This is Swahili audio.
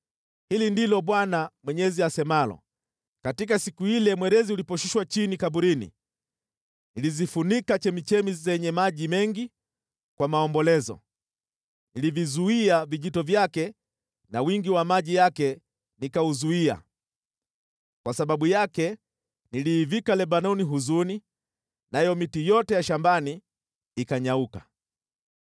“ ‘Hili ndilo Bwana Mwenyezi asemalo: Katika siku ile mwerezi uliposhushwa chini kaburini nilizifunika chemchemi zenye maji mengi kwa maombolezo: Nilivizuia vijito vyake na wingi wa maji yake nikauzuia. Kwa sababu yake niliivika Lebanoni huzuni, nayo miti yote ya shambani ikanyauka.